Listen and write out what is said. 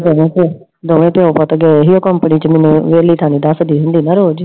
ਦੋਵੇਂ ਪਿਓ ਪੁੱਤ ਗਏ ਸੀ ਉਹ company ਚ ਮੈਨੂੰ ਵੇਹਲੀ ਤਾ ਨਈ ਨਾ ਦੱਸਦੀ ਹੁੰਦੀ ਰੋਜ਼ I